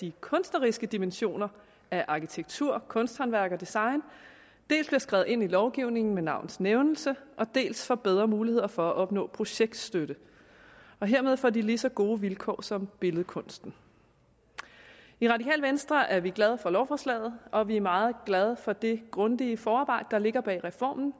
de kunstneriske dimensioner af arkitektur kunsthåndværk og design dels bliver skrevet ind i lovgivningen med navns nævnelse dels får bedre mulighed for at opnå projektstøtte hermed får de lige så gode vilkår som billedkunsten i radikale venstre er vi glade for lovforslaget og vi er meget glade for det grundige forarbejde der ligger bag reformen